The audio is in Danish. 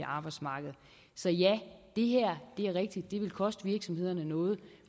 arbejdsmarked så ja det er rigtigt det vil koste virksomhederne noget